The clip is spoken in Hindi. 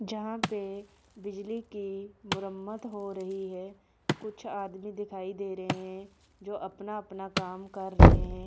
जहां पे बिजली की मरम्मत हो रही है कुछ आदमी दिखाई दे रहे हैं जो अपना अपना काम कर रहे हैं।